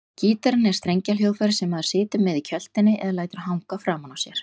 Gítarinn er strengjahljóðfæri sem maður situr með í kjöltunni eða lætur hanga framan á sér.